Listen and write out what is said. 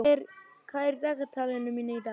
Ágústína, hvað er á dagatalinu mínu í dag?